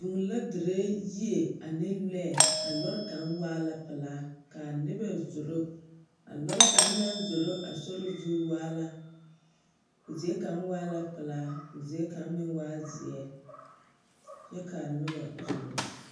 Vũũ la dire yie ane lͻԑ, a lͻre kaŋ waa la pelaa ka noba zoro. A lͻre kaŋ naŋ zoro a sori zu waa la, o zie kaŋ waa la pelaa koo zie kaŋ waa zeԑ kyԑ kaa noba zoro.